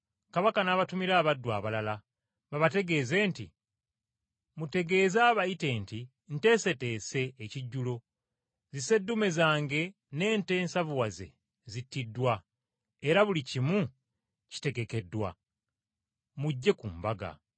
“Kabaka n’abatumira abaddu abalala babategeeze nti, ‘Mutegeeze abayite nti nteeseteese, ekijjulo, zisseddume zange n’ente ensavuwazze zittiddwa, era buli kimu kitegekeddwa. Mujje ku mbaga.’